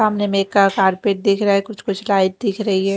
सामने मे एक कारपेट दिख रहा है कुछ कुछ लाइट दिख रही है।